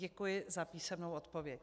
Děkuji za písemnou odpověď.